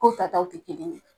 Ko ta taw te kelen ye.